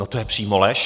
No to je přímo lež.